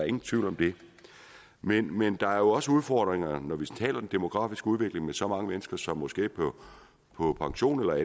ingen tvivl om det men men der er jo også udfordringer når vi taler om den demografiske udvikling med så mange mennesker som nu skal på pension eller